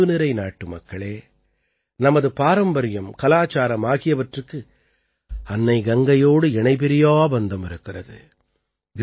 என் அன்புநிறை நாட்டுமக்களே நமது பாரம்பரியம் கலாச்சாரம் ஆகியவற்றுக்கு அன்னை கங்கையோடு இணைபிரியா பந்தம் இருக்கிறது